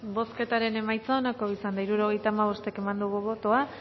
bozketaren emaitza onako izan da hirurogeita hamabost eman dugu bozka